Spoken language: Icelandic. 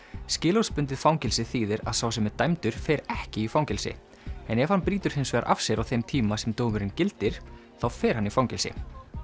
skilorðsbundið fangelsi þýðir að sá sem er dæmdur fer ekki í fangelsi en ef hann brýtur hins vegar af sér á þeim tíma sem dómurinn gildir þá fer hann í fangelsi